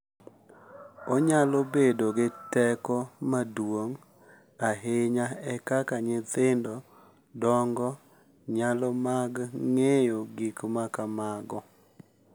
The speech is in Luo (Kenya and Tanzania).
Onyalo bedo gi teko maduong’ ahinya e kaka nyithindo dongo nyalo mag ng’eyo gik ma kamago.